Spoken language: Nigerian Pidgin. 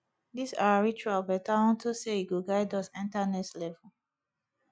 dis our ritual better unto say e go guide us enter next level